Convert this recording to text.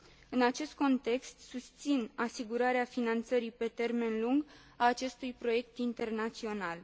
În acest context, susțin asigurarea finanțării pe termen lung a acestui proiect internațional.